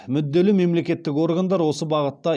мүдделі мемлекеттік органдар осы бағытта